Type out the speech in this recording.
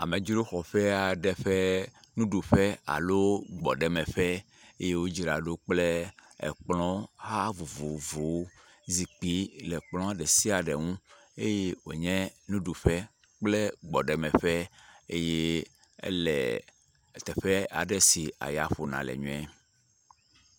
Amedzro xɔƒe aɖe ƒe nuɖuƒe alo gbɔɖemeƒeeye wodzra ɖo kple ekplɔha vovovovowo, zikpui le epkplɔa ɖe sia ɖe ŋu eye wonye nuɖuƒe kple gbɔɖemeƒe eye ele teƒe aɖe si aya ƒona le nyuie.